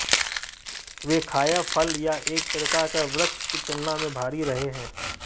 वे खाया फल या एक प्रकार का वृक्ष की तुलना में भारी रहे हैं